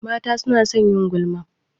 Mata su na son yin gulma